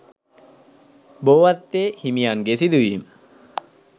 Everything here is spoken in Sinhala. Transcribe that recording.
බෝවත්තේ හිමියන්ගේ සිදුවීම